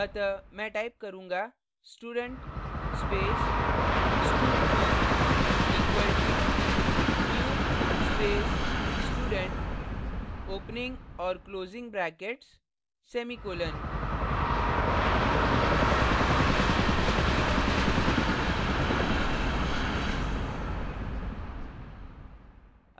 अतः मैं type करूँगा student space stud2 equal to new space student opening और closing brackets semicolon